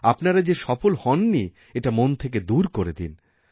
আপনারা যে সফল হননি এটা মন থেকে দূর করে দিন